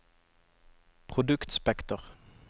produktspekter